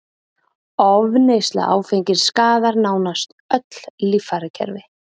Ofneysla áfengis skaðar nánast öll líffærakerfi